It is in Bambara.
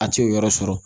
A t'o yɔrɔ sɔrɔ